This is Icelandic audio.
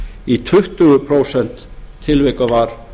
í tuttugu prósent tilvika var